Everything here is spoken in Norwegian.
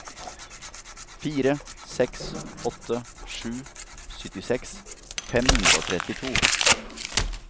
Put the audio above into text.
fire seks åtte sju syttiseks fem hundre og trettito